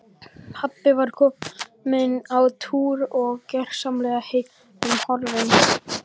Pabbi var kominn á túr og gersamlega heillum horfinn.